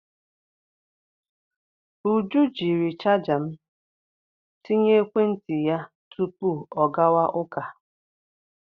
Uju jiri chaja m tinye ekwentị ya tupu ọ gawa ụka.